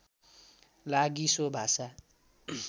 लागि सो भाषा